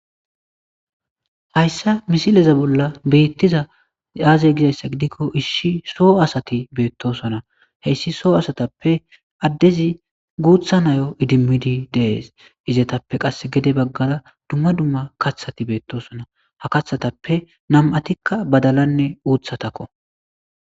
Hayssa misileza bolla beettiza aazey gizayssa gidikko isshi soo asati beettosona heyssi soo asatappe addezi guutha nayo idimmidi dees izetappe qass gede baggada dumma dumma kathati beettosona ha kathatappe nam'atikka badalanne uuthatakko.